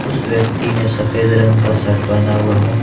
उस व्यक्ति ने सफेद रंग का शर्ट पहना हुआ है।